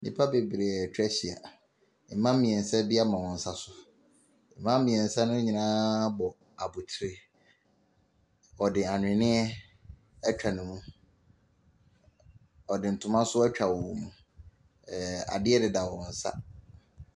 Nnipa bebree a atwa ahyia. Mmaa mmeɛnsa bi ama wɔn nsa so. Mmaa meɛnsa no nyinaa bɔ abotire. Wɔde ahweneɛ atwa wɔn mu. Wɔde ntoma nso atwa wɔn mu. Ɛɛ, . Adeɛ deda wɔn nsa.